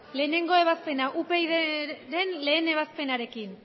batgarrena ebazpena upydren lehen ebazpenarekin